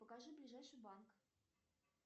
покажи ближайший банк